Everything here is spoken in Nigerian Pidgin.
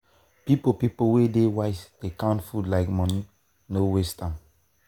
people people wey dey wise dey dey count food like money no waste am.